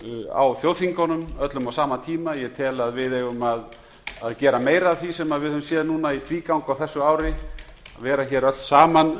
á þjóðþingunum öllum á sama tíma ég tel að við eigum að gera meira af því sem við höfum séð núna í tvígang á þessu ári vera hér öll saman